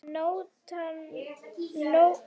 Nóatún getur átt við